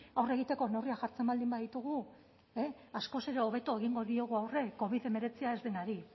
aurre egiteko neurriak jartzen baldin baditugu askoz ere hobeto egingo diogu aurre covid hemeretzia ez denari